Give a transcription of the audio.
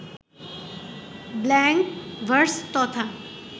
blank verse তথা